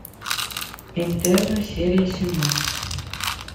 интерны серия семнадцать